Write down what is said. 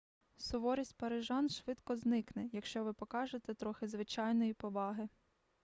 суворість парижан швидко зникне якщо ви покажете трохи звичайної поваги